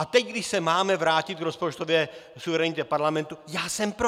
A teď, když se máme vrátit k rozpočtové suverenitě parlamentu, já jsem pro!